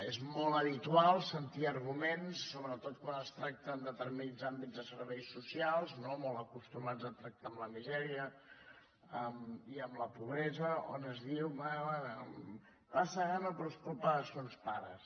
i és molt habitual sentir arguments sobretot quan es tracta en determinats àmbits de serveis socials no molt acostumats a tractar amb la misèria i amb la pobresa on es diu bé bé passa gana però és culpa de sos pares